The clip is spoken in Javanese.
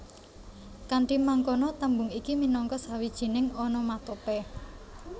Kanthi mangkono tembung iki minangka sawijining onomatope